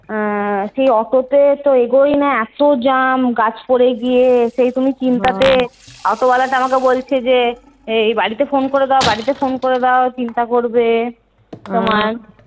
আহ সেই অটো তে তো আগোই না এত jam গাছ পড়ে গিয়ে। সেই তুমি চিন্তা তে অটো ওয়ালাটা আমাকে বলছে যে এই বাড়িতে ফোন করে দাও বাড়িতে ফোন করে দাও চিন্তা করবে।